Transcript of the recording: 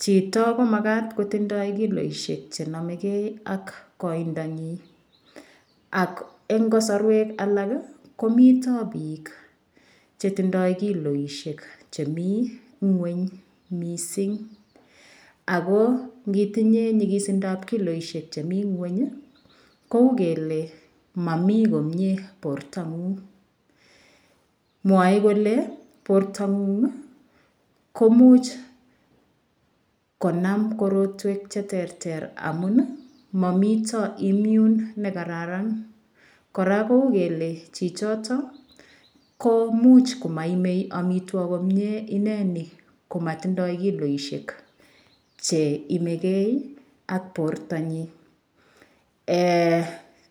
Chito komakat kotindoi kiloishek chenomegei ak koidonyi ak eng' kosorwek alak komito biik chetindoi kiloishek chemi ng'weny mising ako ngitinye nyikisindoab kiloishek chemi ng'weny kou kele mami komye bortong'ung' mwoei kole bortong'ung' komuch konam korotwek cheterter amun mamito immune nekararan kora kou kele chichito ko muuch komaimei omitwok komyee ineni komatindoi kiloishek chenomegei ak bortonyi